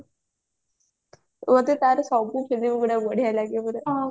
ମତେ ତାର ସବୁ filmy ଗୁଡା ବଢିଆ ଲାଗେ ପୁରା